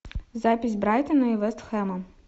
запись брайтона и вест хэма